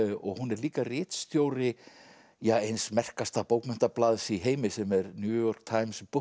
og hún er líka ritstjóri eins merkasta bókmenntablaðs í heimi sem er New York Times